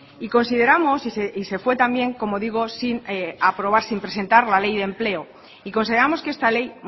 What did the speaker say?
y consideramos y se fue también como digo sin aprobar sin presentar la ley de empleo y consideramos que esta ley